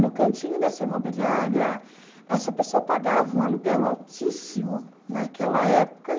No cantinho dessa imobiliária, essa pessoa pagava um aluguel altíssimo naquela época.